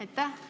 Aitäh!